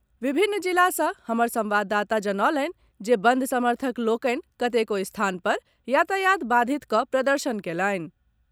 विभिन्न जिला सँ हमर संवाददाता जनौलनि जे बंद समर्थक लोकनि कतेको स्थान पर यातायात बाधित कऽ प्रदर्शन कयलनि।